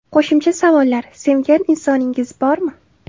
Qo‘shimcha savollar: Sevgan insoningiz bormi?